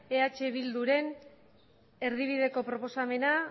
eh bilduren erdibideko proposamena